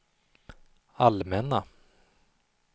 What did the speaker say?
allmänna